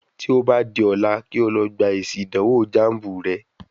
Tí o bá di ọ̀la kí o lọ gbá èsì ìdánwò jáànbù re